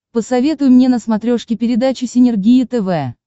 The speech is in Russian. посоветуй мне на смотрешке передачу синергия тв